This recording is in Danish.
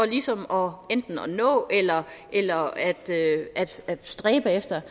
ligesom at nå eller eller at stræbe efter